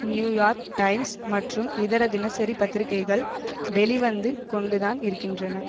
New York Times மற்றும் இதர தினசரி பத்திரிகைகள் வெளி வந்து கொண்டுதான் இருக்கின்றன